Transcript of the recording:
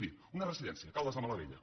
miri una residència caldes de malavella